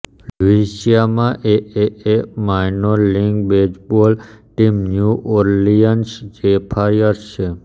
લ્યુઇસિયાનામાં AAA minor league baseball team new Orleans Zephyrs છે